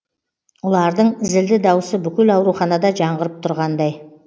ұлардың зілді даусы бүкіл ауруханада жаңғырып тұрғандай